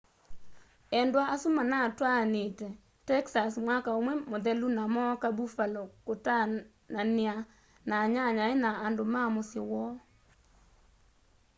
endwa asu manatwaanite texas mwaka umwe muthelu na mooka buffalo kutaanania na anyanyae na andu ma musyi woo